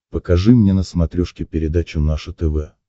покажи мне на смотрешке передачу наше тв